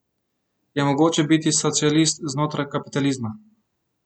Je mogoče biti socialist znotraj kapitalizma?